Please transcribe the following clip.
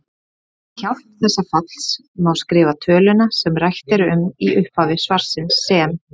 Með hjálp þessa falls má skrifa töluna sem rætt er um í upphafi svarsins sem